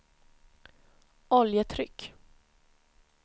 oljetryck